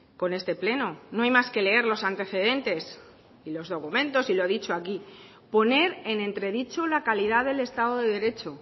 con este pleno no hay más que leer los antecedentes y los documentos y lo ha dicho aquí poner en entredicho la calidad del estado de derecho